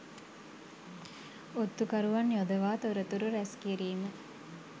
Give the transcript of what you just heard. ඔත්තු කරුවන් යොදවා තොරතුරු රැස් කිරීම